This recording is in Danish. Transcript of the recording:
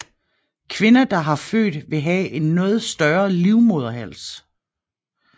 Kvinder der har født vil have en noget større livmoderhals